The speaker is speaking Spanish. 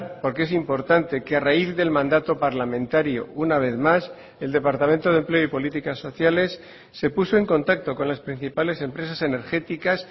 porque es importante que a raíz del mandato parlamentario una vez más el departamento de empleo y políticas sociales se puso en contacto con las principales empresas energéticas